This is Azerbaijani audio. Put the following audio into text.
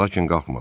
Lakin qalxmadı.